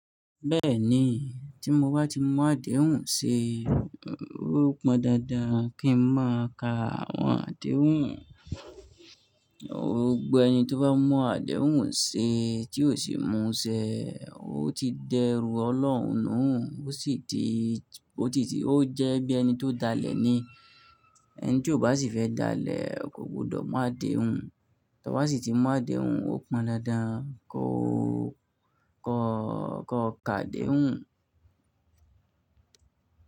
Bẹ́ẹ̀ni, tí mo bá ti mú àdéhùn ṣe, ó pọn dandan kí n máa ka àwọn àdéhùn. Gbogbo ẹni tó bá mú àdéhùn ṣe tí ò sì mú ṣẹ, ó ti dẹrù Ọlọ́run nù, ó sì ti, ó ti, ó jẹ́ bí ẹni tó dalẹ̀ ni. Ẹni tí ò bá sì fẹ́ dalẹ̀ kò gbọdọ̀ mú àdéhùn. Tí bá sì ti mú àdéhùn, ó pọn dandan kó, kó, kó ka àdéhùn.